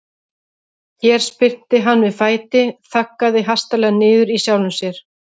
Hér spyrnti hann við fæti, þaggaði hastarlega niður í sjálfum sér.